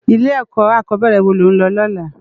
Ilè èkò ákòbèrè wó ló n lò lòlá?